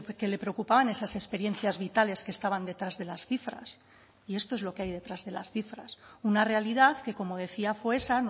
que le preocupaban esas experiencias vitales que estaban detrás de las cifras y esto es lo que hay detrás de las cifras una realidad que como decía fue esa